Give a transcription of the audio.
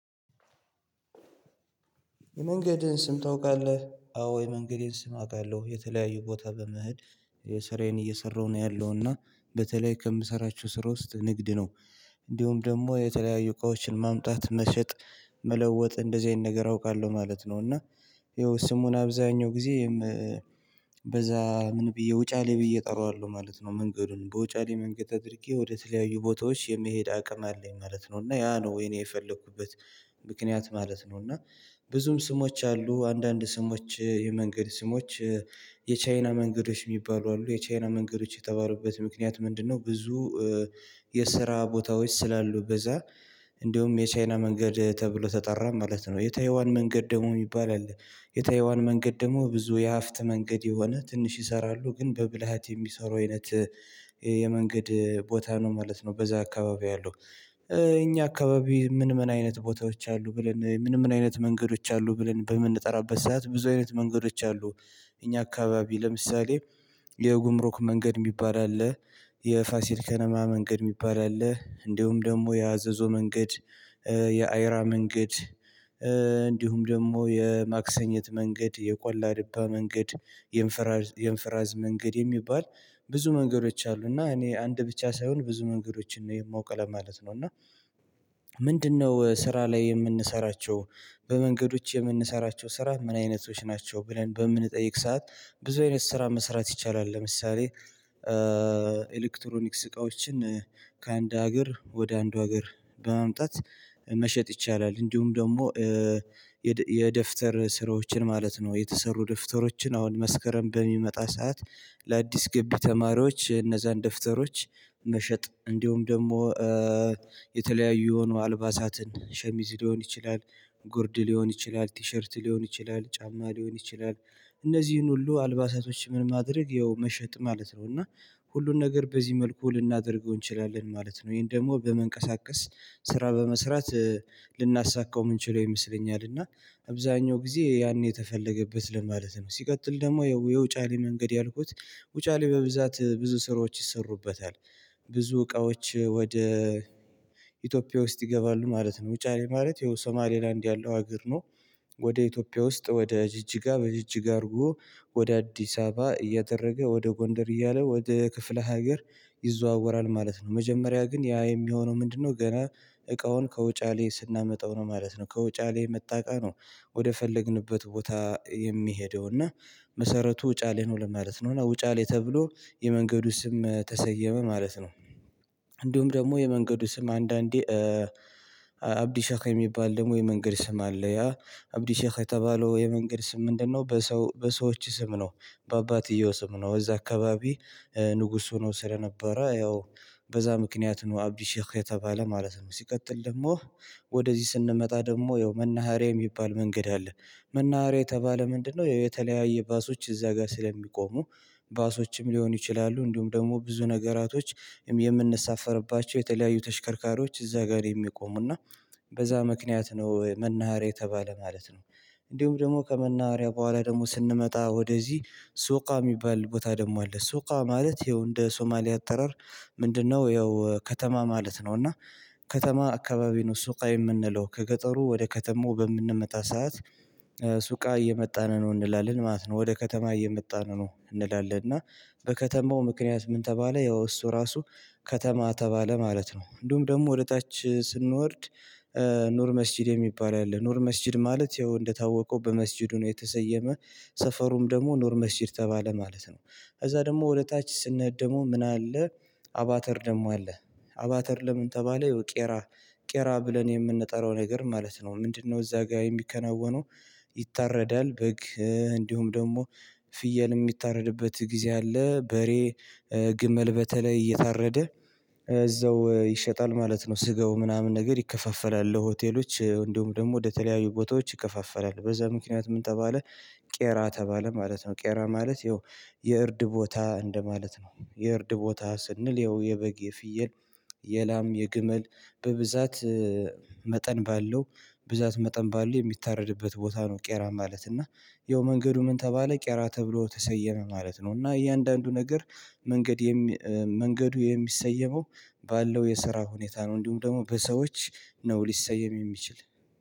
የመንገድን ስም ታውቃለህ? አዎ የመንገዴን ስም አውቃለሁ የተለያዩ ቦታ በመሄድ የስራዬን እየሰራሁ ነው ያለው እና በተለይ ከምሰራቸው ስራ ውስጥ ንግድ ነው። እንዲሁም ደግሞ የተለያዩ እቃዎችን ማምጣት መሸጥ መለወጥ እንደዚህ አይነት ነገር አውቃለሁ ማለት ነው። እና ይኸው ስሙን አብዛኛው ጊዜም በዛ ምን ብዬ ውጫሌ ብዬ እጠራዋለሁ ማለት ነው። መንገዱን በውጫሌ መንገድ አድርጌ ወደ ተለያዩ ቦታዎች የመሄድ አቅም አለኝ ማለት ነው። እና ያ ነው የእኔ የፈለኩበት ምክንያት ማለት ነው። እና ብዙም ስሞች አሉ አንዳንድ ስሞች የመንገድ ስሞች የቻይና መንገዶች የሚባሉ አሉ የቻይና መንገዶች የተባሉበት ምክንያት ምንድነው? ብዙ የስራ ቦታዎች ስላሉ በዛ እንደውም የቻይና መንገድ ተብሎ ተጠራ ማለት ነው። የታይዋን መንገድ ደግሞ የሚባል አለ። የታይዋን መንገድ ደግሞ ብዙ የሀብት መንገድ የሆነ ትንሽ ይሰራሉ ግን በብልሃት የሚሰሩ አይነት የመንገድ ቦታ ነው ማለት ነው። በዛ አካባቢ ያለው። እኛ አካባቢ ምን ምን አይነት ቦታዎች አሉ ብለን ምን ምን አይነት መንገዶች አሉ ብለን በምንጠራበት ሰዓት ብዙ አይነት መንገዶች አሉ። እኛ አካባቢ ለምሳሌ የጉምሩክ መንገድ የሚባል አለ። የፋሲል ከነማ መንገድ የሚባል አለ እንዲሁም ደግሞ የአዘዞው መንገድ የአይራ መንገድ እንዲሁም ደግሞ የማክሰኝት መንገድ የቆላ ድባ መንገድ የንፍራዝ መንገድ የሚባል ብዙ መንገዶች አሉ። እና እኔ አንድ ብቻ ሳይሆን ብዙ መንገዶችን ነው የማውቀው ለማለት ነው። እና ምንድነው ስራ ላይ የምንሰራቸው በመንገዶች የምንሰራቸው ስራ ምን አይነቶች ናቸው? ብለን በምንጠይቅ ሰዓት ብዙ አይነት ስራ መስራት ይቻላል። ለምሳሌ ኤሌክትሮኒክስ እቃዎችን ከአንድ ሀገር ወደ አንዱ ሀገር በማምጣት መሸጥ ይቻላል። እንዲሁም ደግሞ የደብተር ስራዎችን ማለት ነው የተሰሩ ደብተሮችን አሁን መስከረም በሚመጣ ሰዓት ለአዲስ ገቢ ተማሪዎች እነዛን ደብተሮች መሸጥ እንዲሁም ደግሞ የተለያዩ የሆኑ አልባሳትን ሸሚዝ ሊሆን ይችላል። ጉርድ ሊሆን ይችላል ቲሸርት ሊሆን ይችላል ጫማ ሊሆን ይችላል። እነዚህን ሁሉ አልባሳቶች ምን ማድረግ ይኸው መሸጥ ማለት ነው። እና ሁሉን ነገር በዚህ መልኩ ልናደርገው እንችላለን ማለት ነው። ይሄን ደግሞ በመንቀሳቀስ ስራ በመስራት ልናሳካው ምንችለው ይመስለኛል። እና አብዛኛው ጊዜ ያን የተፈለገበት ለማለት ነው ሲቀጥል ደግሞ የውጫሌ መንገድ ያልኩት ውጫሌ በብዛት ብዙ ስራዎች ይሰሩበታል። ብዙ እቃዎች ወደ ኢትዮጵያ ውስጥ ይገባሉ ማለት ነው። ውጫሌ ማለት ይሄው ሶማሌላንድ ያለው ሀገር ነው። ወደ ኢትዮጵያ ውስጥ ወደ ጅጅጋ በጅጅጋ አድርጎ ወደ አዲስ አበባ እያደረገ ወደ ጎንደር እያለ ወደ ክፍለ ሀገር ይዘዋወራል ማለት ነው። መጀመሪያ ግን ያ የሚሆነው ምንድነው? ገና እቃውን ከውጫሌ ስናመጣው ነው ማለት ነው። ከውጫሌ የመጣ እቃ ነው። ወደ ፈለግንበት ቦታ የሚሄደው እና መሰረቱ ውጫሌ ነው ለማለት ነው። እና ውጫሌ ተብሎ የመንገዱ ስም ተሰየመ ማለት ነው። እንዲሁም ደግሞ የመንገዱ ስም አንዳንዴ አብዲ ሼህ የሚባል ደግሞ የመንገድ ስም አለ። ያ አብዲ ሼህ የተባለው የመንገድ ስም ምንድነው? በሰው በሰዎች ስም ነው። በአባትየው ስም ነው። እዛ አካባቢ ንጉስ ሆኖ ስለነበረ ያው በዛ ምክንያት ነው አብዲሼህ የተባለ ማለት ነው። ሲቀጥል ደግሞ ወደዚህ ስንመጣ ደግሞ ያው መናሃሪያ የሚባል መንገድ አለ። መናሃሪያ የተባለ ምንድነው? ያው የተለያየ ባሶች እዛ ጋር ስለሚቆሙ ባሶችም ሊሆኑ ይችላሉ። እንዲሁም ደግሞ ብዙ ነገራቶችም የምንሳፈርባቸው የተለያዩ ተሽከርካሪዎች እዛ ጋር የሚቆሙና በዛ ምክንያት ነው መናሃሪያ የተባለ ማለት ነው። እንዲሁም ደግሞ ከመናሃሪያ በኋላ ደግሞ ስንመጣ ወደዚህ ሱቃ የሚባል ቦታ ደግሞ አለ። ሱቃ ማለት ይኸው እንደ ሶማሊያ አጠራር ምንድነው? ያው ከተማ ማለት ነው። እና ከተማ አካባቢ ነው ሱቃ የምንለው ከገጠሩ ወደ ከተማው በምንመጣ ሰዓት ሱቃ እየመጣን ነው እንላለን ማለት ነው። ወደ ከተማ እየመጣን ነው እንላለን እና በከተማው ምክንያት ምን ተባለ ያው እሱ ራሱ ከተማ ተባለ ማለት ነው። እንዲሁም ደግሞ ወደ ታች ስንወርድ ኑር መስጊድ የሚባል አለ ኑር መስጊድ ማለት ይኸው እንደታወቀው በመስጊዱ ነው። የተሰየመ ሰፈሩም ደግሞ ኑር መስጊድ ተባለ ማለት ነው። ከዛ ደግሞ ወደ ታች ስንሄድ ደግሞ ምን አለ? አቫተር ደግሞ አለ። አቫተር ለምን ተባለ? ይው ቄራ ቄራ ብለን የምንጠራው ነገር ማለት ነው። ምንድነው? እዛ ጋር የሚከናወነው? ይታረዳል በግ እንዲሁም ደግሞ ፍየል የሚታረድበት ጊዜ አለ በሬ ግመል በተለይ እየታረደ እዛው ይሸጣል ማለት ነው። ስጋው ምናምን ነገር ይከፋፈላል ለሆቴሎች እንዲሁም ደግሞ ወደ ተለያዩ ቦታዎች ይከፋፈላል በዛ ምክንያት ምን ተባለ? ቄራ ተባለ ማለት ነው። ቄራ ማለት ይኸው የእርድ ቦታ እንደማለት ነው። የእርድ ቦታ ስንል ይኸው የበግ የፍየል የላም የግመል በብዛት መጠን ባለው ብዛት መጠን ባለው የሚታረድበት ቦታ ነው። ቄራ ማለት እና ያው መንገዱ ምን ተባለ ቄራ ተብሎ ተሰየመ ማለት ነው። እና እያንዳንዱ ነገር መንገድ መንገዱ የሚሰየመው ባለው የስራ ሁኔታ ነው። እንዲሁም ደግሞ በሰዎች ነው ሊሰየም የሚችል